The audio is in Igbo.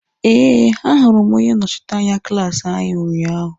Eh, a hụrụ m onye nnọchiteanya klaasi anyị unyaahụ.